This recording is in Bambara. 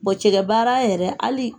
Bon cɛkɛbaara yɛrɛ hali